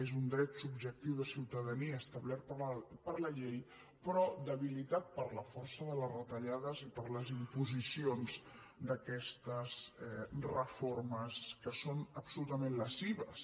és un dret subjectiu de ciutadania establert per la llei però debilitat per la força de les retallades i per les imposicions d’aquestes reformes que són absolutament lesives